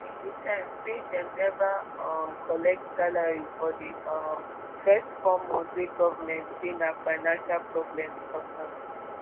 but di interns say dem neva um collect salary for di um first four months wey goment say na financial problems cause am